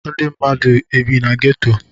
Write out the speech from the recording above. Ndi mmadu e bi na ghetto